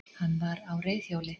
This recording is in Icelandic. Hann var á reiðhjóli